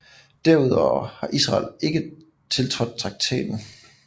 Derudover har Israel ikke tiltrådt traktaten